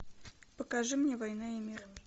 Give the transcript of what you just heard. покажи мне война и мир